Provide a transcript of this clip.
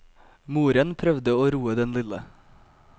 Moren prøvde å roe den lille.